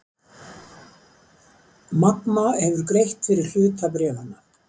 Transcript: Magma hefur greitt fyrir hluta bréfanna